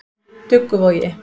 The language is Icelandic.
Dugguvogi